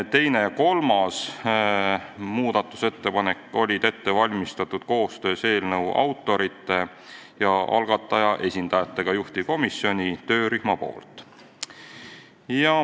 Teise ja kolmanda muudatusettepaneku oli ette valmistanud koostöös eelnõu autorite ja algataja esindajatega juhtivkomisjoni töörühm.